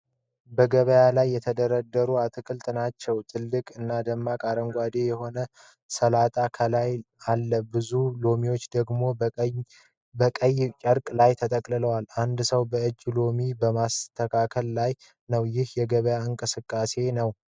በገበያ ላይ የተደረደሩ አትክልቶችን ናቸው። ትልቅ እና ደማቅ አረንጓዴ የሆነ ሰላጣ ከላይ አለ፣ ብዙ ሎሚዎች ደግሞ በቀይ ጨርቅ ላይ ተቀምጠዋል። አንድ ሰው በእጁ ሎሚዎችን በማስተካከል ላይ ነው፤ ይህም የገበያ እንቅስቃሴ ነው።